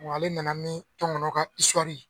Wa ale nana ni tɔngɔnɔ ka isuwari ye